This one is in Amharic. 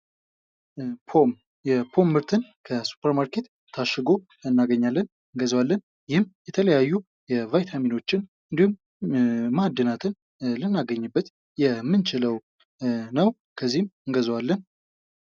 የፖፕ ምርት ከ ሱፐርማርኬት ታሽጉ አገኘዋለን፤ እንገዛዋለን ።ይህም የተለያዩ የተለያዩ የባይታሚኖችን እንዲሁም ማዕድናትን ልናገኝ የምንችለው ነው። ከዚህም እንገዘዋለን።